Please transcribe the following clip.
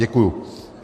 Děkuji.